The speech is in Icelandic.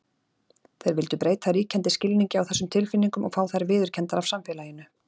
Þeir vildu breyta ríkjandi skilningi á þessum tilfinningum og fá þær viðurkenndar af samfélaginu.